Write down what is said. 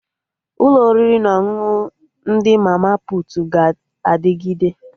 Ụlọ oriri na ọṅụṅụ ndị mama putu ga-adịgide